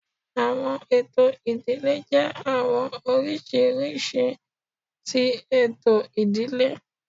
Awọn eto idile jẹ awọn oriṣiriṣi oriṣi ti eto idile